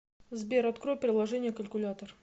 сбер открой приложение калькулятор